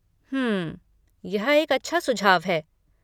हम्म, यह एक अच्छा सुझाव है।